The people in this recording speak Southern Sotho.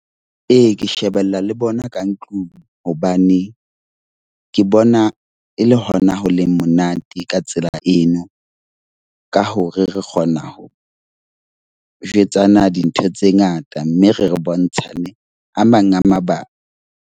Ee, ke shebella le bona ka ntlung hobane ke bona e le hona ho le monate ka tsela eno. Ka hore re kgona ho jwetsana dintho tse ngata, mme re bontshane a mang a mabaka.